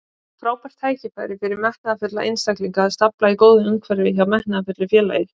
Frábært tækifæri fyrir metnaðarfulla einstaklinga að starfa í góðu umhverfi hjá metnaðarfullu félagi.